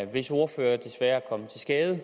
hvis ordfører desværre er kommet til skade